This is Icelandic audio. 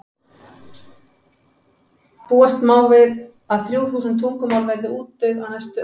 búast má við að þrjú þúsund tungumál verði útdauð á næstu öld